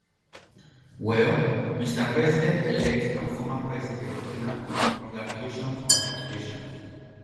well mr presidentelect and former president donald congratulations congratulations